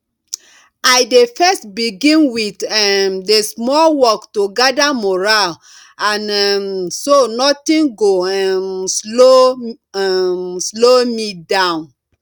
i dey first begin with um the small work to gather mural and um so nothing go um slow um slow me down